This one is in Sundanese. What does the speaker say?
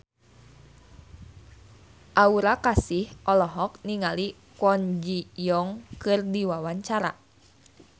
Aura Kasih olohok ningali Kwon Ji Yong keur diwawancara